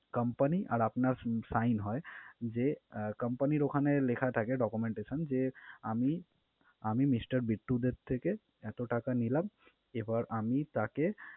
Company আর আপনার sign হয় যে, company র ওখানে লেখা থাকে documentation যে আমি আমি Mister বিট্টু দের থেকে এতো টাকা নিলাম, এবার আমি তাকে